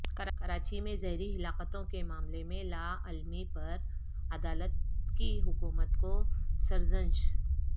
کراچی میں زہریلی ہلاکتوں کے معاملے میں لاعلمی پر عدالت کی حکومت کو سرزنش